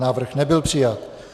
Návrh nebyl přijat.